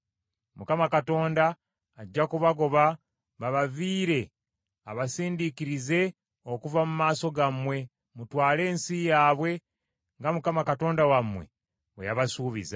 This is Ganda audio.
Mukama Katonda ajja kubagoba babaviire abasindiikirize okuva mu maaso gammwe mutwale ensi yaabwe nga Mukama Katonda wammwe bwe yabasuubiza.